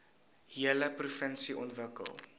hele provinsie ontwikkel